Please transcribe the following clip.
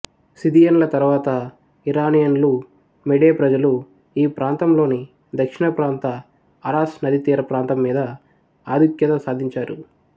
సిథియన్ల తరువాత ఇరానియన్లు మెడే ప్రజలు ఈ ప్రాంతంలోని దక్షిణప్రాంత అరాస్ నదీతీర ప్రాంతం మీద ఆధుఖ్యత సాధించారు